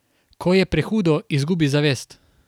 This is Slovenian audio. Ko je prehudo, izgubi zavest.